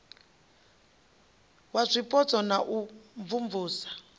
wa zwipotso na u imvumvusa